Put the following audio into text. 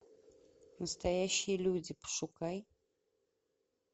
настоящие люди пошукай